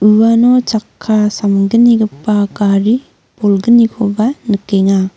uano chakka samgnigipa gari bolgnikoba nikenga.